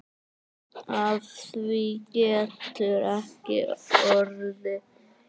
Af því getur ekki orðið.